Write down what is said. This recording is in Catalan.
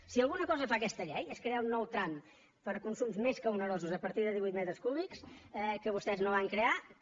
si alguna cosa fa aquesta llei és crear un nou tram per a consums més que onerosos a partir de divuit metres cúbics que vostès no van crear que